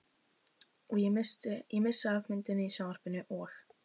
Ég missi af myndinni í sjónvarpinu og.